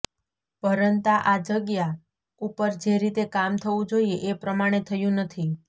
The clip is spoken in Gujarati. પરંતા આ જગ્યા ઉપર જે રીતે કામ થવું જોઇએ એ પ્રમાણે થયું નથી